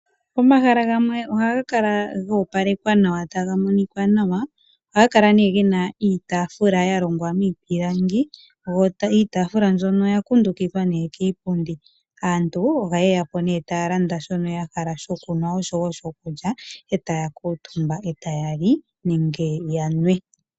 Omahala gamwe oha ngakala gopalekwa nawa tagamonika nawa, ohangakala ne gena iitafula yalongwa mipilangi yo iitafula mbyono oya kundukithwa ne kiipundi, aantu oha yeya po ne talanda shono yahala shokunwa osho wo shokulya etaya kutumba otayali nenge yanwe.